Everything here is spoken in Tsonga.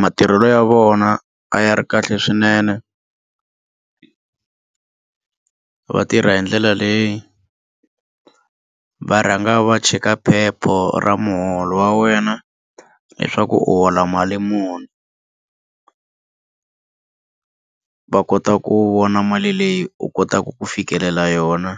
Matirhelo ya vona a ya ri kahle swinene va tirha hi ndlela leyi va rhanga va cheka phepha ra muholo wa wena leswaku u hola mali muni va kota ku vona mali leyi u kotaka ku fikelela yona